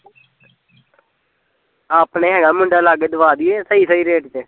ਆਪਣੇ ਹੈਗਾ ਮੁੰਡਾ ਲਾਗੇ ਦਵਾ ਦਈਏ ਸਹੀ ਸਹੀ rate ਤੇ